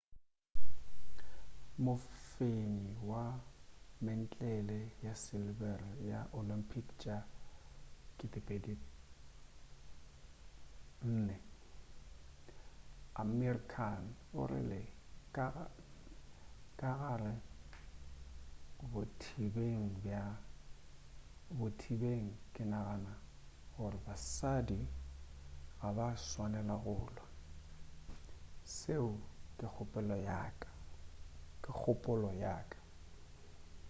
mofenyi wa mentlele wa silebere wa olympic tša 2004 amir khan o rile ka gare bothibeng ke nagana gore basadi ga ba swanela go lwa seo ke kgopolo ya ka